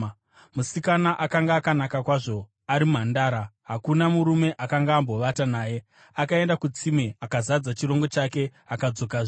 Musikana akanga akanaka kwazvo, ari mhandara; hakuna murume akanga ambovata naye. Akaenda kutsime, akazadza chirongo chake akadzokazve.